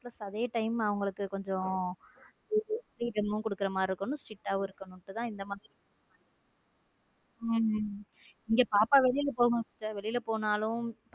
plus அதே time அவங்களுக்கு கொஞ்சம் freedom குடுக்குற மாதிரி இருக்கணும் strict இருக்கணும் இங்க மாறி உம் இங்க பாப்பா வெளியில போகும் சிஸ்டர் வெளில போனா.